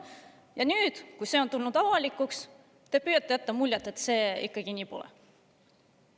Ja nüüd, kui see kõik on tulnud avalikuks, püüate te jätta muljet, et nii see ikkagi pole.